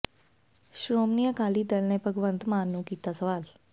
ਸ਼੍ਰੋਮਣੀ ਅਕਾਲੀ ਦਲ ਨੇ ਭਗਵੰਤ ਮਾਨ ਨੂੰ ਕੀਤਾ ਸਵਾਲ